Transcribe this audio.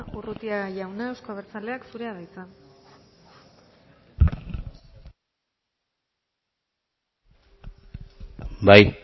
urrutia jauna euzko abertzaleak zurea da hitza bai